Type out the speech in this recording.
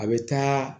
A bɛ taa